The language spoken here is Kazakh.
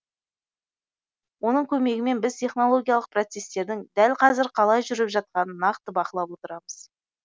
оның көмегімен біз технологиялық процесстердің дәл қазір қалай жүріп жатқанын нақты бақылап отырамыз